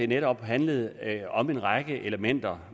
netop handlede om en række elementer